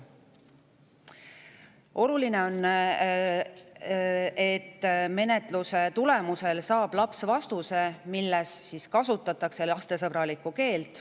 Oluline on, et menetluse tulemusel saab laps vastuse, milles kasutatakse lastesõbralikku keelt.